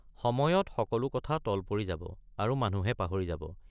সময়ত সকলো কথা তল পৰি যাব আৰু মানুহে পাহৰি যাব।